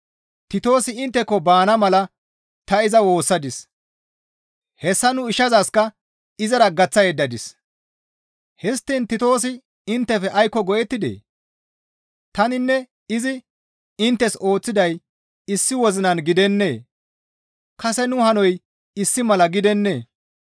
Titoosi intteko baana mala ta iza woossadis; hessa nu ishazakka izara gaththa yeddadis; histtiin Titoosi inttefe aykko go7ettidee? Taninne izi inttes ooththiday issi wozinan gidennee? Kase nu hanoy issi mala gidennee?